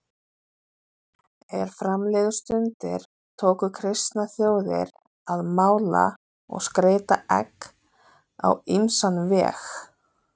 Er fram liðu stundir tóku kristnar þjóðir að mála og skreyta egg á ýmsan veg.